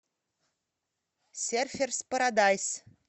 серферс парадайс